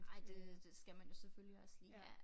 Ej det det skal man jo selvfølgelig også lige ja